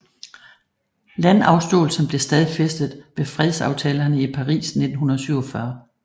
Landafståelsen blev stadfæstet ved fredsaftalerne i Paris 1947